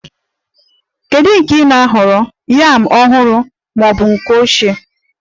Kedu nke ị na-ahọrọ, yam ọhụrụ ma ọ bụ ochie?